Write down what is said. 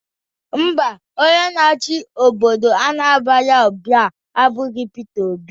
Ḿbà, onye na-achị obodo Anambra ugbua aburọ Pita Obi